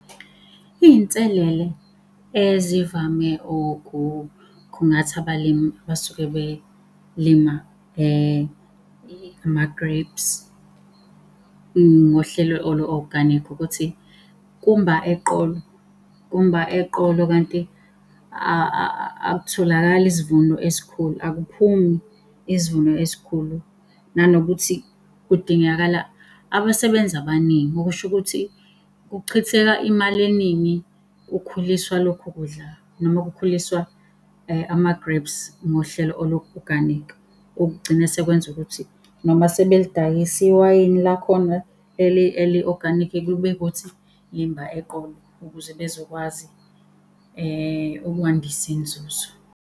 Iy'nselele ezivame ukukhungatha abalimi abasuke belima ama-grapes, ngohlelo olu-organic ukuthi kumba eqolo, kumba eqolo kanti akutholakali isivuno esikhulu, akuphumi isivuno esikhulu. Nanokuthi kudingakala abasebenzi abaningi, okusho ukuthi kuchitheka imali eningi kukhuliswa lokhu kudla noma kukhuliswa ama-grapes ngohlelo olu-organic. Okugcina sekwenza ukuthi noma sebelidayisa iwayini lakhona eli-organic kube ukuthi limba eqolo, ukuze bezokwazi ukwandisa inzuzo.